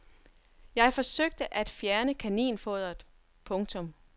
Jeg forsøgte at fjerne kaninfoderet. punktum